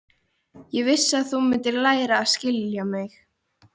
Ég vissi að þú mundir læra að skilja mig.